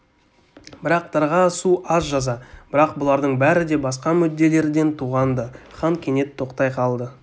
бірақ дарға асу аз жаза бірақ бұлардың бәрі де басқа мүдделерден туған-ды хан кенет тоқтай қалды